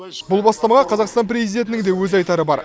бұл бастамаға қазақстан президентінің де өз айтары бар